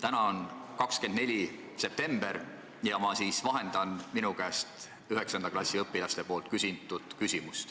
Täna on 24. september ja ma vahendan küsimust, mida küsisid minu käest 9. klassi õpilased.